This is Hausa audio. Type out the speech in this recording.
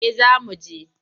Eh za mu je.